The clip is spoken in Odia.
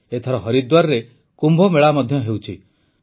ଏଥର ହରିଦ୍ୱାରରେ କୁମ୍ଭମେଳା ମଧ୍ୟ ହେଉଛି